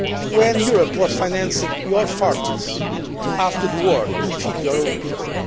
when Europe was financing your farmers after the war to feed your own people?